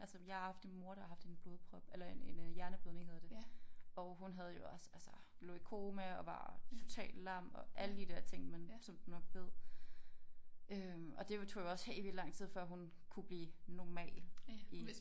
Altså jeg har haft en mor der har haft en blodprop eller en en øh en hjerneblødning hedder det og hun havde jo også altså lå i koma og var totalt lam og alle de der ting man som du nok ved øh og det tog jo også helt vildt lang tid for hun kunne blive normal i